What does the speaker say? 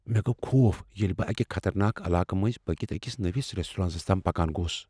مےٚ گو خوف ییٚلہ بہٕ اکہ خطرناک علاقہٕ مٔنٛزۍ پٔکتھ أکس نوِس ریسٹورانس تام پکان گوس۔